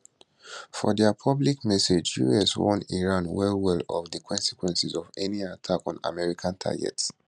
for dia public message us warn iran wellwell of di consequences of any attack on american targets